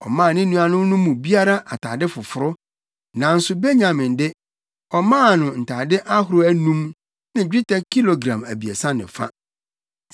Ɔmaa ne nuanom no mu biara atade foforo, nanso Benyamin de, ɔmaa no ntade ahorow anum ne dwetɛ kilogram abiɛsa ne fa.